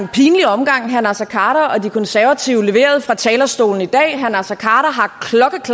omgang herre naser khader og de konservative leverede fra talerstolen i dag herre naser khader